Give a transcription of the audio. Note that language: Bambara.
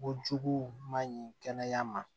Ko jugu man ɲi kɛnɛya ma